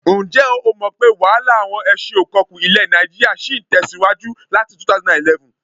Ǹjẹ́ o mọ̀ pé wàhálà àwọn ẹṣin-ò-kọkú ilẹ̀ nàìjíríà ṣì ń tẹ̀síwájú láti 2011?